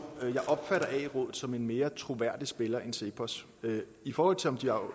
jeg opfatter ae rådet som en mere troværdig spiller end cepos i forhold til om de er